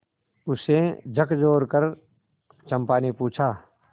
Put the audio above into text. उसे झकझोरकर चंपा ने पूछा